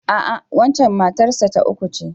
A'a, waccen matar sa ta uku ce.